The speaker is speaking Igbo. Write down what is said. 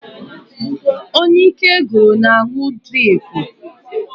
Onye ike gwụrụ na-aṅụ driipu.